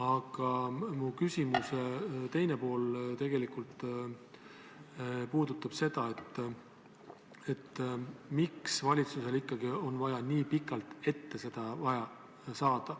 Aga mu küsimuse teine pool puudutab tegelikult seda, miks valitsusel ikkagi on vaja nii pikalt ette see luba saada.